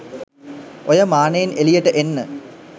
ඔය මානයෙන් එළියට එන්න.